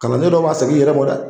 Kalanden dɔ b'a segin i yɛrɛ ma dɛ